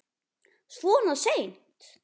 Svona seint?